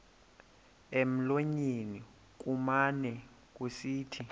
emlonyeni kumane kusithi